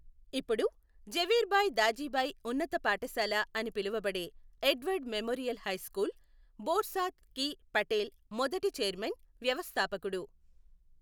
ఇప్పుడు ఝవేర్భాయి దాజిభాయి ఉన్నత పాఠశాల అని పిలువబడే Edward memorial high school, Borsad కి పటేల్ మొదటి చైర్మన్, వ్యవస్థాపకుడు.